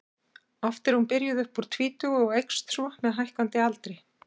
oft er hún byrjuð upp úr tvítugu og eykst svo með hækkandi aldri